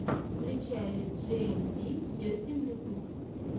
включай джиэмди сетин ютюб